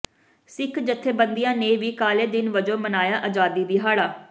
ਸਿੱਖ ਜਥੇਬੰਦੀਆਂ ਨੇ ਵੀ ਕਾਲੇ ਦਿਨ ਵਜੋਂ ਮਨਾਇਆ ਆਜ਼ਾਦੀ ਦਿਹਾੜਾ